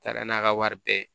Taara n'a ka wari bɛɛ ye